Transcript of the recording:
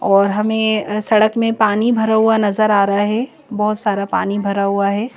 और हमें सड़क में पानी भरा हुआ नजर आ रहा है बहुत सारा पानी भरा हुआ है।